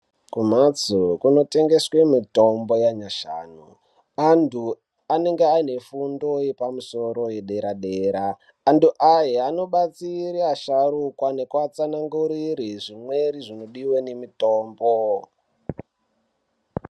Kumhatso kunotengeswe mithombo yanyashanu anthu anenge aine fundo yepamusoro yederadera. Anthu aya anobatsire asharukwa nekuatsanangurire zvimweni zvinodiwa nemithombo.